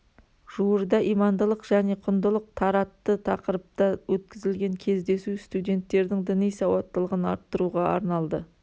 жуырда имандылық және құндылық таратты тақырыпта өткізілген кездесу студенттердің діни сауаттылығын арттыруға арналды